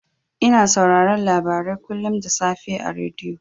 Ina sauraron labarai kullun da safe a rediyo.